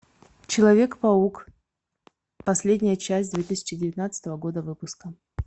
человек паук последняя часть две тысячи девятнадцатого года выпуска